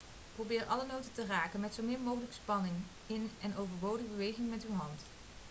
probeer alle noten te raken met zo min mogelijk spanning in en overbodige bewegingen met uw hand